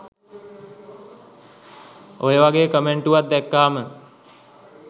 ඔයවගේ කමෙන්ටුවක් දැක්කම